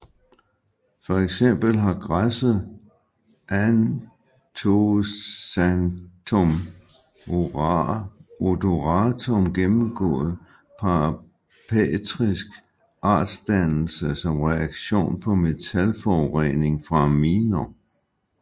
For eksempel har græsset Anthoxanthum odoratum gennemgået parapatrisk artsdannelse som reaktion på metalforurening fra miner